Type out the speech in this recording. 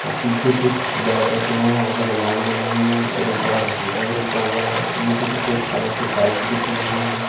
पीछे कुछ बेड रखे हुए हैं कुछ आलमारी बनी हुइ हैं और एक बड़ा सोफा रखा हुआ है और नीचे सफेद कलर की टाइल्स बिछी हुई हैं।